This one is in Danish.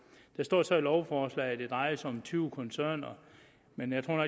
der står så i lovforslaget at det drejer sig om tyve koncerner men jeg tror